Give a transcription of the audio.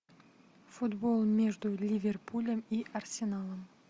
футбол между ливерпулем и арсеналом